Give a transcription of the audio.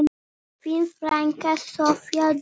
Þín frænka, Soffía Dögg.